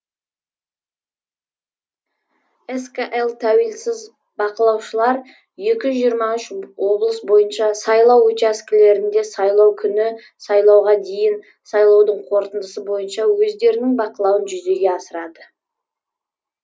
скл тәуелсіз бақылаушылар екі жүз жиырма үш облыс бойынша сайлау учаскелерінде сайлау күні сайлауға дейін сайлаудың қорытындысы бойынша өздерінің бақылауын жүзеге асырады